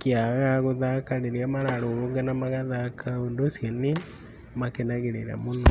kĩa gũthata hĩndĩ ĩyo mara rũrũngana magathaka ũndũ ũcio nĩ makenagĩrĩra mũno.